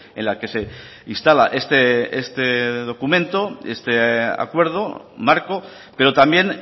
en la que se instala este documento este acuerdo marco pero también